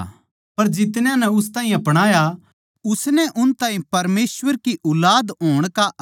पर जितन्या नै उस ताहीं अपणाया उसनै उन ताहीं परमेसवर के ऊलाद होण का हक दिया